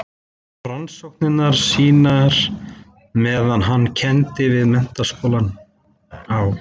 Hann hóf rannsóknir sínar meðan hann kenndi við Menntaskólann á